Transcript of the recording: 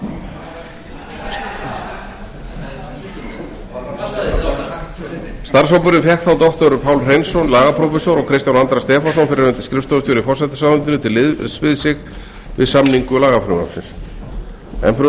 í forsætisráðuneytinu starfshópurinn fékk þá doktor pál hreinsson lagaprófessor og kristján andra stefánsson fyrrverandi skrifstofustjóra í forsætisráðuneytinu til liðs við sig við samningu lagafrumvarpsins enn fremur